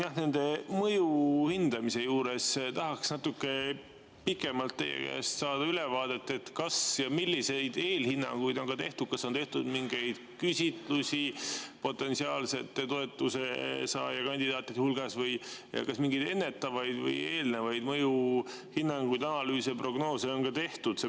Jah, nende mõjude hindamise juures tahaksin saada natuke pikemalt teie käest ülevaadet, kas ja milliseid eelhinnanguid on tehtud, kas on tehtud mingeid küsitlusi potentsiaalsete toetusesaajakandidaatide hulgas ja kas mingeid ennetavaid või eelnevaid mõjuhinnanguid, analüüse ja prognoose on ka tehtud.